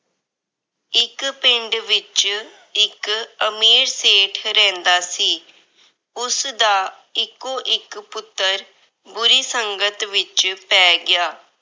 ਇੱਕ ਪਿੰਡ ਵਿੱਚ ਇੱਕ ਅਮੀਰ ਸੇਠ ਰਹਿੰਦਾ ਸੀ। ਉਸਦਾ ਇੱਕੋ-ਇੱਕ ਪੁੱਤਰ ਬੁਰੀ ਸੰਗਤ ਵਿੱਚ ਪੈ ਗਿਆ।